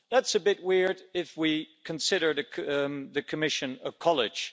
That's a bit weird if we consider the Commission a college.